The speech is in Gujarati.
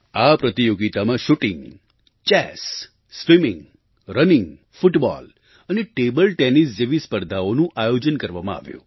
આ પ્રતિયોગિતામાં shooting chess swimming running football અને ટેબલ ટેનિસ જેવી સ્પર્ધાઓનું આયોજન કરવામાં આવ્યું